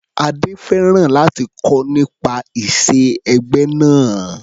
Adé fẹ́ràn láti kọ́ nípa ìṣe ẹgbẹ́ náà.